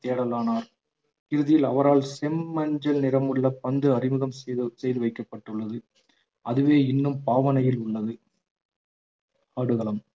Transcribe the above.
தேடலானார் இறுதியில் அவரால் செம்மஞ்சள் நிறமுள்ள பந்து அறிமுகம் செய்து செய்து வைக்கப்பட்டுள்ளது அதுவே இன்னும் பாவனையில் உள்ளது ஆடுகளம்